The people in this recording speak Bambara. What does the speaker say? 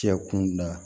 Cɛ kun da